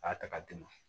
A y'a ta ka d'i ma